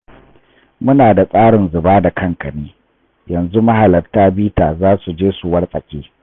Muna da tsarin zuba da kanka ne, yanzu mahalarta bita za su je su wartsake.